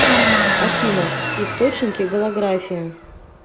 афина источники голография